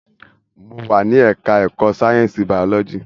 Mo wà ní ẹka ẹ̀kọ́ sáyẹnsì biology.